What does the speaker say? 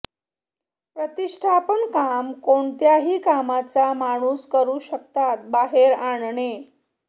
प्रतिष्ठापन काम कोणत्याही कामाचा माणूस करू शकता बाहेर आणणे